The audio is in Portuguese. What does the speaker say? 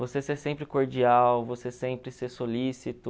Você ser sempre cordial, você sempre ser solícito.